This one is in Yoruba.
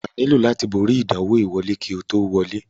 Wà á nílò láti borí ìdánwò ìwọlé kí o tó wọlé.